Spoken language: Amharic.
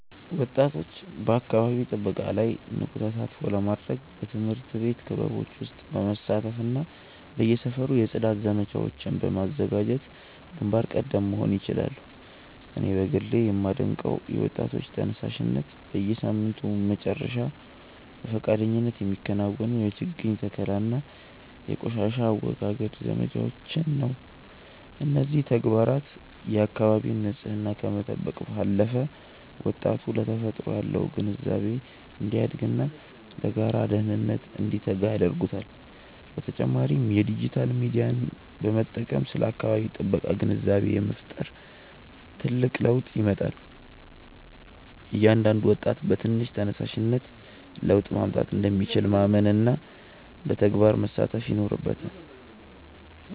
ወጣቶች በአካባቢ ጥበቃ ላይ ንቁ ተሳትፎ ለማድረግ በትምህርት ቤት ክበቦች ውስጥ በመሳተፍና በየሰፈሩ የጽዳት ዘመቻዎችን በማዘጋጀት ግንባር ቀደም መሆን ይችላሉ። እኔ በግሌ የማደንቀው የወጣቶች ተነሳሽነት፣ በየሳምንቱ መጨረሻ በፈቃደኝነት የሚከናወኑ የችግኝ ተከላና የቆሻሻ አወጋገድ ዘመቻዎችን ነው። እነዚህ ተግባራት የአካባቢን ንፅህና ከመጠበቅ ባለፈ፣ ወጣቱ ለተፈጥሮ ያለው ግንዛቤ እንዲያድግና ለጋራ ደህንነት እንዲተጋ ያደርጉታል። በተጨማሪም የዲጂታል ሚዲያን በመጠቀም ስለ አካባቢ ጥበቃ ግንዛቤ መፍጠር ትልቅ ለውጥ ያመጣል። እያንዳንዱ ወጣት በትንሽ ተነሳሽነት ለውጥ ማምጣት እንደሚችል ማመንና በተግባር መሳተፍ ይኖርበታል።